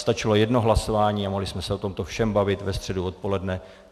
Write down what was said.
Stačilo jedno hlasování a mohli jsme se o tomto všem bavit ve středu odpoledne.